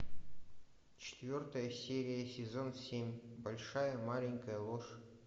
четвертая серия сезон семь большая маленькая ложь